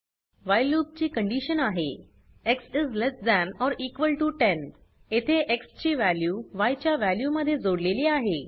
while loop ची condition आहे x is less than or equal to 10 येथे x ची वॅल्यू yच्या वॅल्यू मध्ये जोडलेली आहे